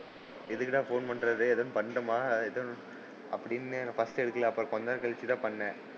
எதுக்குடா போன் பண்றாரு எதுவும் பண்ணோமா அப்படின்னு first எடுக்கல. அப்புறம் கொஞ்ச நேரம் கழிச்சு தான் பண்ணன்.